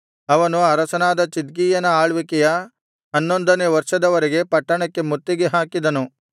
ಅವನು ಅರಸನಾದ ಚಿದ್ಕೀಯನ ಆಳ್ವಿಕೆಯ ಹನ್ನೊಂದನೆ ವರ್ಷದವರೆಗೆ ಪಟ್ಟಣಕ್ಕೆ ಮುತ್ತಿಗೆ ಹಾಕಿದನು